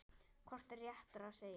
Hvort er réttara að segja